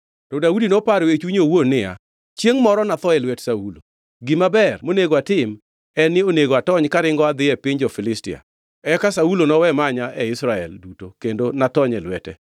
To Daudi noparo e chunye owuon niya, “Chiengʼ moro natho e lwet Saulo. Gima ber monego atim en ni onego atony karingo adhi e piny jo-Filistia. Eka Saulo nowe manya e Israel duto kendo natony e lwete.”